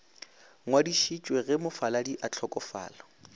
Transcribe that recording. ngwadišitšwe ge mofaladi a hlokofala